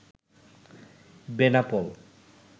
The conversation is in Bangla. বেনাপোল